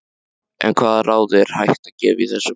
En hvaða ráð er hægt að gefa í þessu máli?